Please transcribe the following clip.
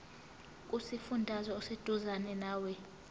kusifundazwe oseduzane nawe